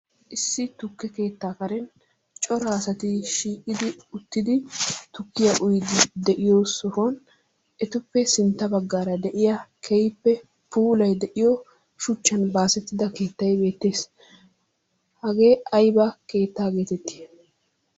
Issi tukke keettaa karen cora asati shiiqidi uttidi tukkiya uyyidi de'iyo sohoy etuppe sintta baggaara de'iya keehippe puulay de'iyo shuchchan baasetida keettay beettees. Hagee aybba keetta getetti?